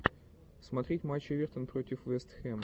смотреть матч эвертон против вест хэм